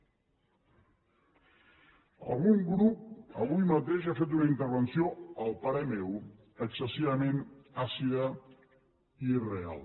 algun grup avui mateix ha fet una intervenció a parer meu excessivament àcida i irreal